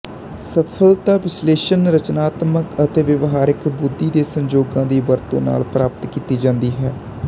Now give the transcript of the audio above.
ਸਫਲਤਾ ਵਿਸ਼ਲੇਸ਼ਕ ਰਚਨਾਤਮਕ ਅਤੇ ਵਿਹਾਰਕ ਬੁੱਧੀ ਦੇ ਸੰਯੋਗਾਂ ਦੀ ਵਰਤੋਂ ਨਾਲ ਪ੍ਰਾਪਤ ਕੀਤੀ ਜਾਂਦੀ ਹੈ